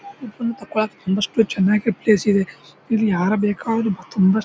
ತುಂಬಷ್ಟು ಚೆನ್ನಾಗಿ ಪ್ಲೇಸ್ ಇದೆ ಇಲ್ಲಿ ಯಾರು ಬೇಕಾದ್ರೂ ತುಂಬ--